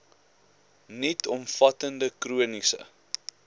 nuut omvattende chroniese